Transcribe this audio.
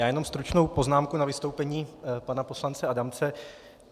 Já jenom stručnou poznámku na vystoupení pana poslance Adamce.